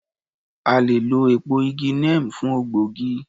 A le è lọ èpo igi neem fún ògbógi